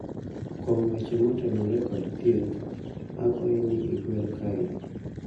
kuom weche motenore kod thieth, akwayi ni igwel kae